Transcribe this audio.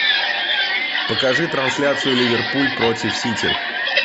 покажи трансляцию ливерпуль против сити